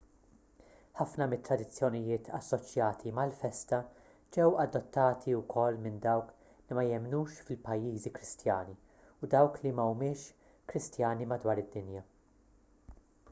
ħafna mit-tradizzjonijiet assoċjati mal-festa ġew adottati wkoll minn dawk li ma jemmnux fil-pajjiżi kristjani u dawk li mhumiex kristjani madwar id-dinja